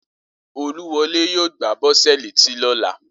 Olúwọlé yóò gbá Bọ́sẹ̀ létí lóla